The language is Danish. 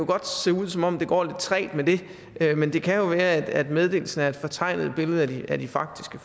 godt se ud som om det går lidt trægt med det men det kan jo være at meddelelsen er et fortegnet billede af de faktiske